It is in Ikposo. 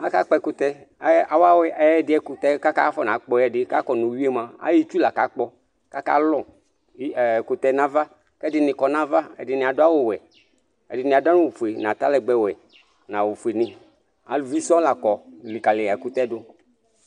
Aka kpɔ ɛkutɛ Awu ɛɣɛɖi ayu ɛkutɛ ku akona pkɔ ka kɔ nu uwui yɛ mua, ayu itsúh laku aka kpɔ Ku aka lɔ eeh ɛkutɛ yɛ nu ãvã Ɛdini kɔ nu ãvã, ɛdini aɖu awu wɛ, ɛdini aɖu awu fue, nu atalɛgbɛ wɛ, nu awu fue nu Ãluvi sɔn lã kɔ likali ɛkutɛ yɛ du